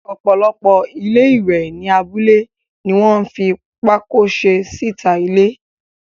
Ọ̀pọ̀lọpọ̀ ilé-ìwẹ̀ ní abúlé ní wọ́n fi pákó se síta ilé.